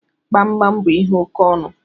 Gbamgbam bú ihe oke ọnụ